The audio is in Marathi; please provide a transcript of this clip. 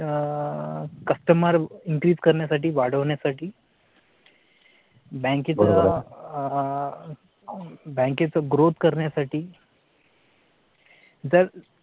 customer increase करण्यासाठी वाढवण्यासाठी बँकेत आह बँकेत growth करण्यासाठी. जर